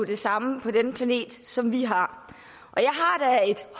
det samme på denne planet som vi har